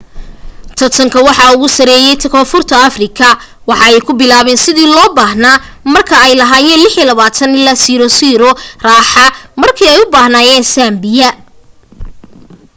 tartanka waxaa ugu sareye koonfur afrika waxa ay ku bilaabeyn sidii loo baahna marka ay lahaayen 26 - 00 raaxa markee u baxaayen zambia